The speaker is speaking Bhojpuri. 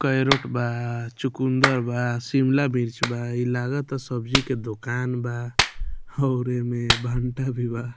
केरोट बा चुकुन्दर बा शिमला मिर्च बा इ लागता सब्जी के दुकान बा और एमे भंटा भी बा |